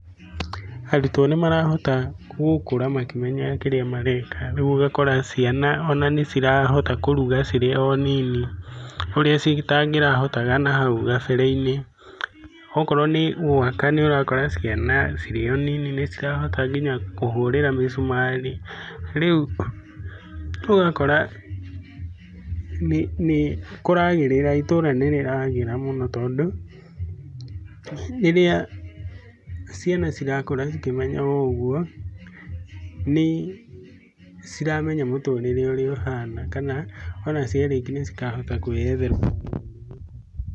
Arutwo nĩ marahota gũkũra makĩmenyaga kĩrĩa mareka, rĩu ũgakora ciana ona nĩ cirahota kũruga cirĩ o nini, ũrĩa citangirahotaga nahau gabere-inĩ. Okorwo nĩ gwaka nĩ ũrakora ciana cirĩ o nini nĩ cirahota nginya kũhurĩra mĩcumarĩ. Rĩu ũgakora nĩ kũragĩrĩra, itũra nĩ rĩragĩra mũno tondũ rĩrĩa ciana cirakũra cikĩmenyaga ũguo nĩ ciramenya mũtũrĩre ũrĩa ũhana, kana ona ciarĩki nĩ cikahota kwĩyethera.